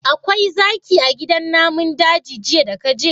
Akwai zaki a gidan namun daji jiya daka je?